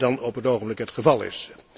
dan op het ogenblik het geval is.